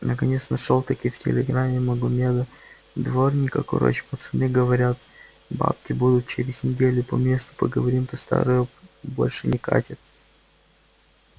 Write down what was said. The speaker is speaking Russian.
наконец нашёл-таки в телеграме магомеда-дворника короч пацаны говорят бабки будут через неделю по месту поговорим то старое больше не катит